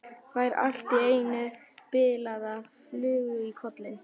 Fær allt í einu bilaða flugu í kollinn.